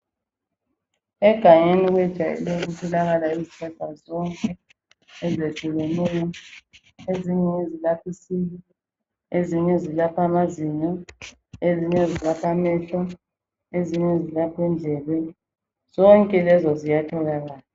Egangeni kwejayele ukutholakala izihlahla zonke ezehlukeneyo, ezinye ngezilapha isisu, ezinye ngezalapha amazinyo, ezinye zilapha amehlo, ezinye ngezilapha indlebe zonke lezo ziyatholakala